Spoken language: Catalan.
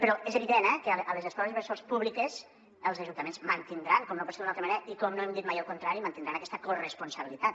però és evident eh que a les escoles bres·sol públiques els ajuntaments mantindran com no pot ser d’una altra manera i com no hem dit mai el contrari aquesta corresponsabilitat